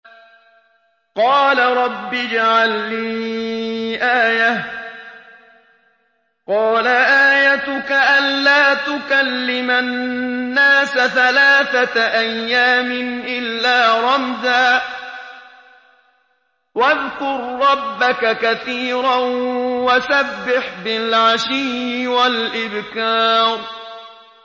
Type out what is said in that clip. قَالَ رَبِّ اجْعَل لِّي آيَةً ۖ قَالَ آيَتُكَ أَلَّا تُكَلِّمَ النَّاسَ ثَلَاثَةَ أَيَّامٍ إِلَّا رَمْزًا ۗ وَاذْكُر رَّبَّكَ كَثِيرًا وَسَبِّحْ بِالْعَشِيِّ وَالْإِبْكَارِ